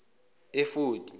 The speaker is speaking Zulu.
efodi